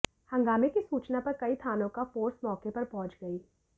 हंगामे की सूचना पर कई थानों का फोर्स मौके पर पहुंच गई